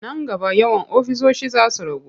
Nan gaba yawan ofisoshi za su ragu.